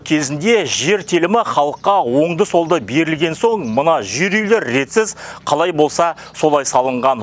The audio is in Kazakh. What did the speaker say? кезінде жер телімі халыққа оңды солды берілген соң мына жер үйлер ретсіз қалай болса солай салынған